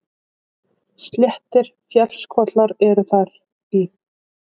Sléttir fjallskollar eru þar í